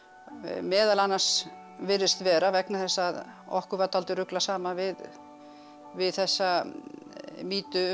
meðal annars virðist vera vegna þess að okkur var dálítið ruglað saman við við þessa mýtu um